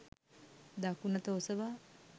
දකුණත ඔසවා